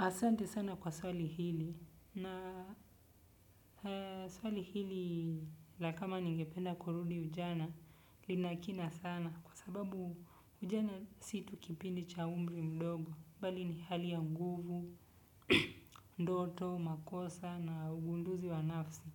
Asante sana kwa swali hili na swali hili la kama ningependa kurudi ujana lina kina sana kwa sababu ujana si tu kipindi cha umri mdogo bali ni hali ya nguvu, ndoto, makosa na ugunduzi wa nafsi.